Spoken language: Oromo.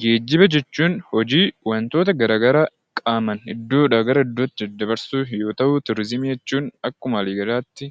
Geejjiba jechuun hojii wantoota gara garaa qaamaan iddoodhaa gara iddootti dabarsuuf yoo ta'u, turizimii jechuun akkuma waliigalaatti